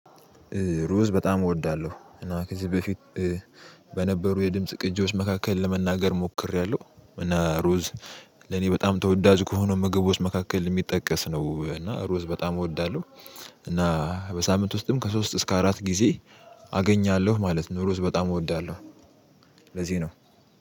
ሩዝ በጣም እወዳለሁ እና ከዚህ በፊት በነበሩ የድምጽ ቅጂዎች መካከል ለመናገር ሞክሬያለሁ። እና ሩዝ ለኔ በጣም ተወዳጅ ከሆነ ምግቦች መካከል የሚጠቀስ ነው እና ሩዝ በጣም እወዳለሁ። እና በሳምንት ውስጥም ከሶስት እስከ አራት ጊዜ አገኛለሁ ማለት ነው። ሩዝ በጣም እወዳለሁ። ለዚህ ነው